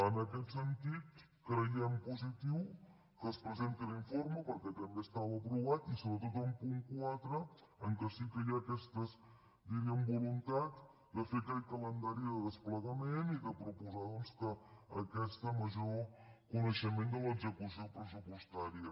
en aquest sentit creiem positiu que es presenti l’informe perquè també estava aprovat i sobretot el punt quatre en què sí que hi ha aquestes diríem voluntats de fer aquest calendari de desplegament i de proposar doncs aquest major coneixement de l’execució pressupostària